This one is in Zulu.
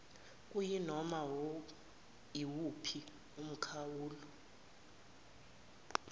kuyinoma iwuphi umkhawulo